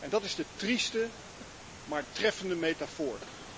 Dat is een trieste, maar treffende metafoor.